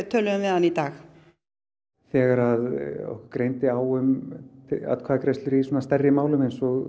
töluðum við hann í dag þegar okkur greindi á um atkvæðagreiðslur í stærri málum eins og